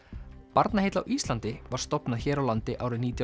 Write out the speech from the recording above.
Barnaheill á Íslandi var stofnað hér á landi árið nítján